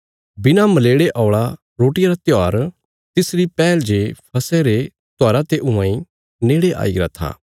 बिणा मलेड़े औल़ा रोटियां रा त्योहार तिसरी पैहल जे फसह रे त्योहारा ते हुआं इ नेड़े आईगरा था